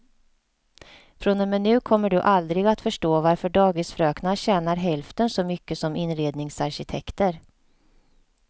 Från och med nu kommer du aldrig att förstå varför dagisfröknar tjänar hälften så mycket som inredningsarkitekter.